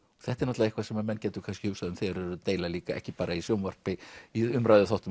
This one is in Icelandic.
þetta er eitthvað sem menn gætu kannski hugsað um þegar þeir eru að deila líka ekki bara í sjónvarpi í umræðuþáttum